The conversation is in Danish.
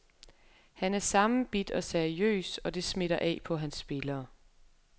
Han er sammenbidt og seriøs, og det smitter af på hans spillere.